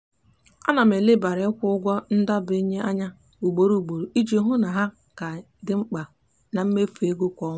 ana m elebara ikwu ụgwọ ndebanye anya ugboro ugboro iji hụ na ha ha ka dị mkpa na mmefu ego kwa ọnwa.